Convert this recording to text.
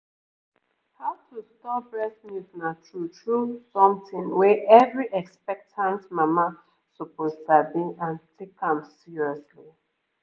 how to store breast milk na true-true something wey every expectant mama suppose sabi and take am seriously